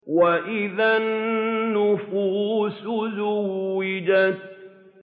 وَإِذَا النُّفُوسُ زُوِّجَتْ